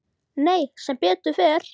Nei, sem betur fer.